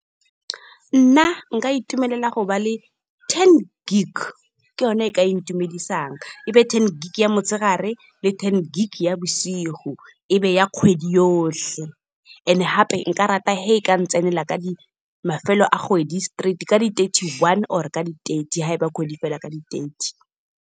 Nna nka itumelela go ba le ten gig ke yone e ka ntumedisang. E be ten gig ya motshegare le ten gig ya bosigo, e be ya kgwedi yotlhe, and gape nka rata ga e ka ntsenela mafelo a kgwedi straight, ka di-thirty-one or ka di-thirty ha e ba kgwedi fela ka di-thirty.